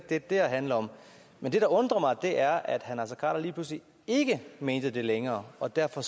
det her handler om men det der undrer mig er at herre naser khader lige pludselig ikke mente det længere og derfor